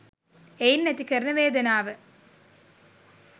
එයින් ඇති කරන වේදනාව